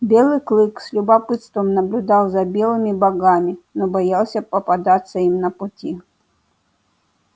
белый клык с любопытством наблюдал за белыми богами но боялся попадаться им на пути